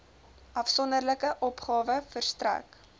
afsonderlike opgawe verstrek